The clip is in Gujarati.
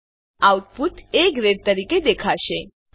તેથી આઉટપુટ એ ગ્રેડ તરીકે દેખાશે